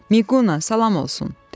"Miqquna salam olsun," dedi.